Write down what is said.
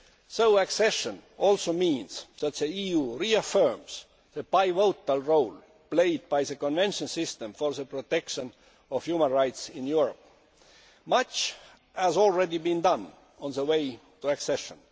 So accession also means that the EU reaffirms the pivotal role played by the Convention system in the protection of human rights in Europe. Much has already been done on the way to accession.